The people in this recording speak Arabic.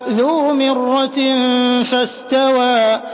ذُو مِرَّةٍ فَاسْتَوَىٰ